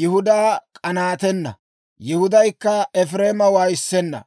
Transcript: Yihudaa k'anaatenna; Yihudaykka Efireema waayissenna.